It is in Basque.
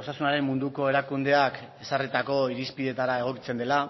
osasunaren munduko erakundeak ezarritako irizpidetara egokitzen dela